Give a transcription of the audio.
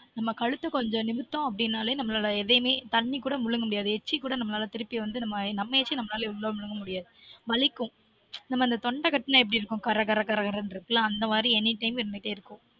நம்ம கழுத்த கொஞ்சம் நிமித்தம் அப்டினாலே நம்லொட எதயுமே தண்ணி கூட மூழுங்க முடியாது எச்சி கூட நம்மலாலா திருப்பி வந்து நம்ம நம்ம எச்சி நம்மலாலயே உள்ள முழுங்க முடியாது வலிக்கும் தொண்டை கட்டுனா எப்டி இருக்கும் கற கறணு இருக்குல அந்த மாதிரி any time இருந்துட்டெ இருக்கும்